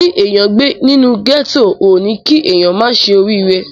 Kí èèyàn gbé nínú ghetto ò ní kí èèyàn má ṣe orí ire.